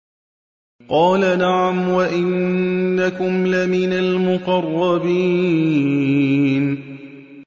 قَالَ نَعَمْ وَإِنَّكُمْ لَمِنَ الْمُقَرَّبِينَ